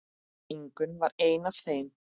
Ingunn var ein af þeim.